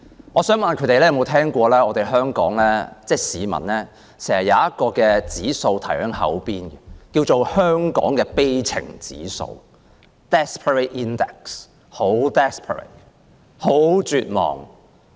我想問他們有否聽過香港市民經常掛在口邊的一項指數，名為香港的悲情指數，真的非常 desperate， 非常絕望。